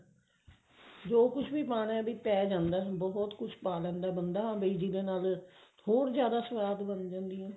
ਜੋ ਕੁਛ ਵੀ ਪਾਉਣਾ ਪਾਈ ਜਾਂਦਾ ਬਹੁਤ ਕੁਛ ਪਾ ਲੈਂਦਾ ਬੰਦਾ ਹਨਾ ਵੀ ਜਿਹਦੇ ਨਾਲ ਹੋਰ ਜਿਆਦਾ ਸਵਾਦ ਬਣ ਜਾਂਦੀ ਹੈ